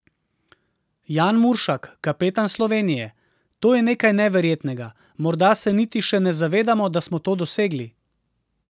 Jan Muršak, kapetan Slovenije: "To je nekaj neverjetnega, morda se niti še ne zavedamo, da smo to dosegli.